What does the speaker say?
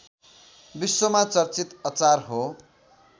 विश्वमा चर्चित अचार हो